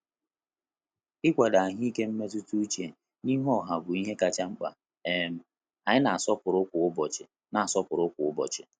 Ikwado ahụike mmetụta uche na-ihu ọha bụ ihe kacha mkpa um anyi na-asọpụrụ kwa ụbọchị na-asọpụrụ kwa ụbọchị